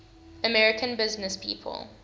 american businesspeople